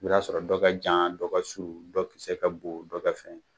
I bi t'a sɔrɔ dɔ kɛ jan dɔ kɛ surun dɔ kisɛ kɛ bon dɔ kɛ